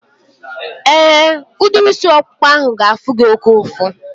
Éè, udiri isi ọkpụkpa ahu ga-afụ gị oké ụfụ